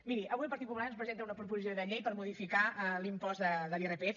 miri avui el partit popular ens presenta una proposició de llei per modificar l’impost de l’irpf